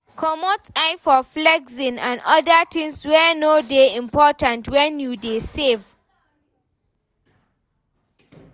Comot eye for flexing and oda things wey no dey important when you dey save